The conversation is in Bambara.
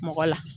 Mɔgɔ la